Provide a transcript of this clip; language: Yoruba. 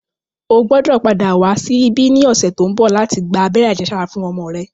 O gbọ́dò padà wá sí ibí ní ọ̀sẹ̀ tó ń bọ̀ láti gba abẹ́rẹ́ àjẹsára fún ọmọ rẹ